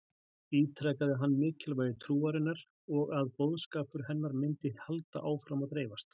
Ítrekaði hann mikilvægi trúarinnar og að boðskapur hennar myndi halda áfram að dreifast.